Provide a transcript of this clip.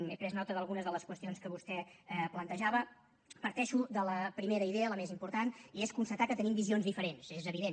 he pres nota d’algunes de les qüestions que vostè plantejava parteixo de la primera idea la més important i és constatar que tenim visions diferents és evident